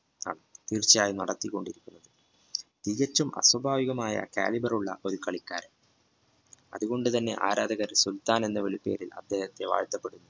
തീർച്ചയായും നടത്തിക്കൊണ്ടിരിക്കും തികച്ചും അസ്വഭാവികമായ callibery യുള്ള ഒരു കളിക്കാരൻ അതുകൊണ്ടു തന്നെ ആരാധകർ സുൽത്താൻ എന്ന വിളിപ്പേര് അദ്ദേഹത്തെ വാഴ്ത്തപ്പെട്ടു